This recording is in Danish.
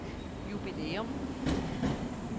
jubilæum